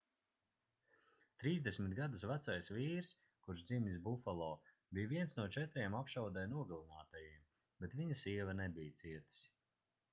30 gadus vecais vīrs kurš dzimis bufalo bija viens no četriem apšaudē nogalinātajiem bet viņa sieva nebija cietusi